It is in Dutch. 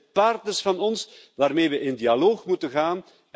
Het zijn partners van ons waarmee we in dialoog moeten gaan.